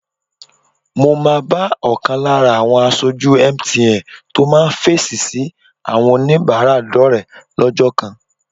Mo máa bá ọ̀kan lára àwọn aṣojú MTN tó máa fèsì sí àwọn oníbàárà dọ́rẹ̀ẹ́ lọ́jọ́ kan